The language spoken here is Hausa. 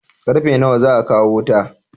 Karfe nawa za a kawo wuta?